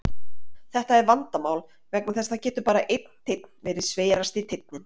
Þetta er vandamál vegna þess að það getur bara einn teinn verið sverasti teinninn.